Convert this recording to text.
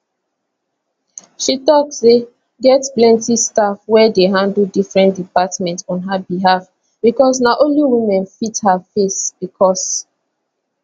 she tok say get plenti staff wey dey handle different departments on her behalf becos na only women fit her face becos